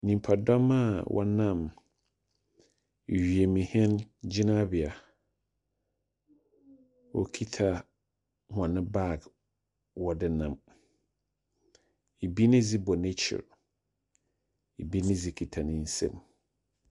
Nnipa dɔm a wɔnam wiemhyɛn gyinabea. Wokita wɔn baag, wɔde nam. Ebi ne de bɔ n'akyi. Ebi ne de kita ne nsam.